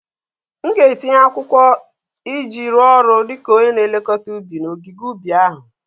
M ga-etinye akwụkwọ iji rụọ ọrụ dị ka onye na-elekọta ubi n'ogige ubi ahụ